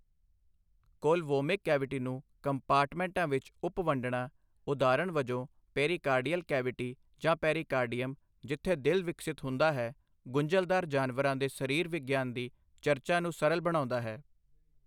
ਕੋਲਵੋਮਿਕ cavity ਨੂੰ ਕੰਪਾਰਟਮੈਂਟਾਂ ਵਿੱਚ ਉਪ ਵੰਡਣਾ, ਉਦਾਹਰਣ ਵਜੋਂ, ਪੇਰੀਕਾਰਡੀਅਲ ਕੈਵਿਟੀ ਜਾਂ ਪੇਰੀਕਾਰਡੀਅਮ, ਜਿੱਥੇ ਦਿਲ ਵਿਕਸਿਤ ਹੁੰਦਾ ਹੈ, ਗੁੰਝਲਦਾਰ ਜਾਨਵਰਾਂ ਦੇ ਸਰੀਰ ਵਿਗਿਆਨ ਦੀ ਚਰਚਾ ਨੂੰ ਸਰਲ ਬਣਾਉਂਦਾ ਹੈ।